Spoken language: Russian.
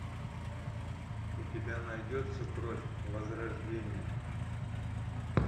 у тебя найдется кровь возрождения